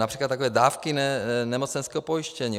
Například takové dávky nemocenského pojištění.